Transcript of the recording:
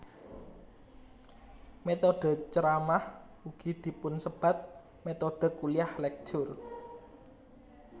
Métodhe ceramah ugi dipunsebat métodhe kuliah lecture